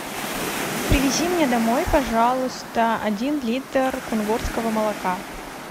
привези мне домой пожалуйста один литр кунгурского молока